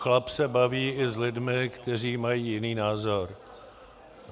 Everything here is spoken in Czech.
Chlap se baví i s lidmi, kteří mají jiný názor.